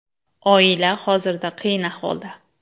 Oila hozirda qiyin ahvolda.